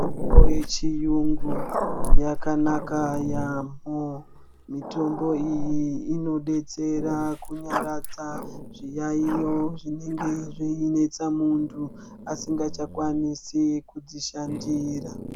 Mitombo yechiyungu yakanaka yaamho. Mitombo iyi inobetsera kunyaradza zviyaiyo zvinenge zveinetsa muntu asingachakwanisi kudzishandira.